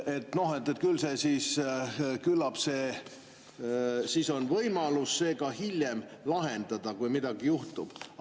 ] Teie ütlesite, et küllap siis on võimalus see hiljem lahendada, kui midagi juhtub.